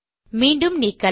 மீண்டும் நீக்கலாம்